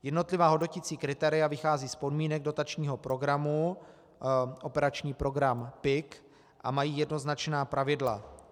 Jednotlivá hodnoticí kritéria vycházejí z podmínek dotačního programu, operační program PIK, a mají jednoznačná pravidla.